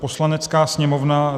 "Poslanecká sněmovna